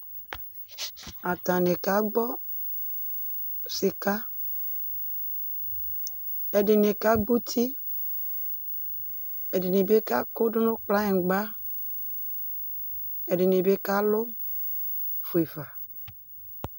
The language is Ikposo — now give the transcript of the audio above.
Atani ka gbɔ sik, ɛdini ka gb'uti, ɛdini bi ka kʋdʋ nʋ kpagnigba, ɛdini bi kalʋ fuefa